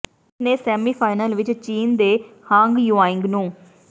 ਉਸ ਨੇ ਸੈਮੀਫਾਈਨਲ ਵਿਚ ਚੀਨ ਦੇ ਹਾਂਗ ਯੁਆਇੰਗ ਨੂੰ